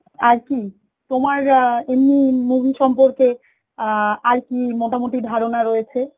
আর কি তোমার আ এমনি মুভির সম্পর্কে আ আর কি মোটামুটি ধারণা রয়েছে